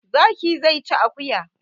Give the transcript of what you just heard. Zaki zai ci akuya